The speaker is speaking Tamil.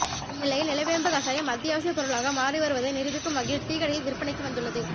இந்நிலையில் நிலவேம்பு கஷாயம் அத்தியாவசிய பொருளாக மாறி வருவதை நிரூபிக்கும் வகையில் டீ கடையில் விற்பனைக்கு வந்துள்ளது